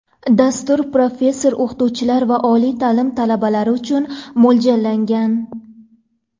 Dastur professor-o‘qituvchilar va oliy ta’lim talabalari uchun mo‘ljallangan.